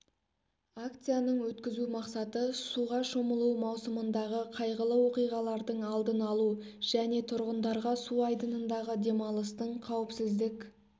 акцияның өткізу мақсаты суға шомылу маусымындағы қайғылы оқиғалардың алдын алу және тұрғындарға су айдынындағы демалыстың қауіпсіздік